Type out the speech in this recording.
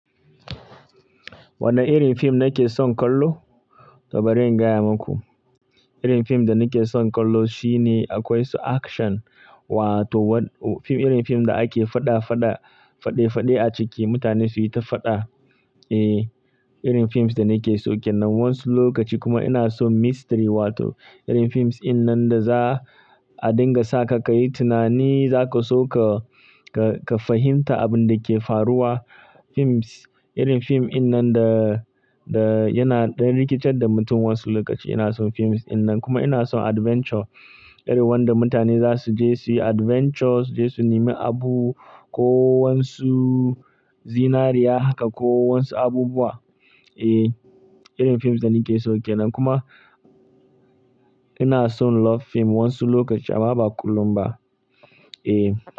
Wane irin fim nake son kallo? To bari in gaya maku. Irin fim da nake son kallo shine akwai su action wato wa-- fim, irin fim da ake faɗa faɗa, faɗe faɗe a ciki mutane su yi ta faɗa. Eh, irin fim da nake son ke nan wasu lokaci kuma ina son mystery wato irin fim in nan da za a dinga sa ka, ka yi tunani za ka so ka, ka, ka fahimta abin da ke faruwa. Fims, irin fim in nan da, da yana ɗan rikitar da mutum wasu lokaci. Ina son fim in nan. Kuma ina son adventure irin wanda mutane za su je su yi adventures, je su nemi abu ko wasu zinariya haka ko wasu abubuwa. Eh, irin fim da nake son ke nan. Kuma ina son love fim wasu lokaci amma ba kullum ba. Eh.